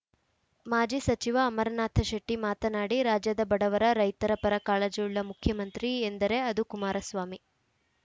ಮಾಜಿ ಸಚಿವ ಅಮರನಾಥ ಶೆಟ್ಟಿಮಾತನಾಡಿ ರಾಜ್ಯದ ಬಡವರ ರೈತರ ಪರ ಕಾಳಜಿಯುಳ್ಳ ಮುಖ್ಯಮಂತ್ರಿ ಎಂದರೆ ಅದು ಕುಮಾರಸ್ವಾಮಿ